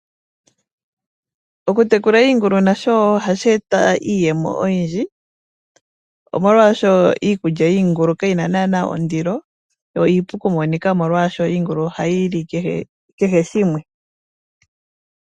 Okutekula iingulu nasho wo ohashi eta iiyemo oyindji omolwaashoka iikulya yiingulu kayi na naana ondiloyo iipu okumonika nomolwaasho iingulu ohayi li kehe shimwe.